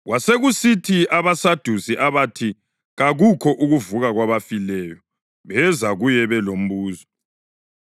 Kwasekusithi abaSadusi abathi kakukho ukuvuka kwabafileyo, beza kuye belombuzo.